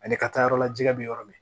Ani ka taa yɔrɔ la jɛgɛ bɛ yɔrɔ min